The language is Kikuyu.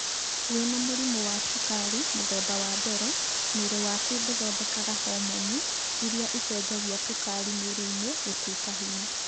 Wĩna mũrimũ wa cukari mũthemba wa mbere, mwĩrĩ waku ndũthondekaga homoni ĩrĩa ĩcenjagia cukari mwĩrĩ-inĩ gũtuĩka hinya.